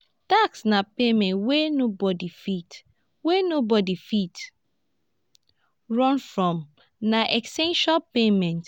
tax na payment wey nobody fit wey nobody fit run from na essential payment